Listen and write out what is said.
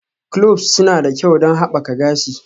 Cloves suna da kyau don haɓaka gashi.